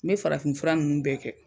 N farafin fura nunnu bɛɛ kɛ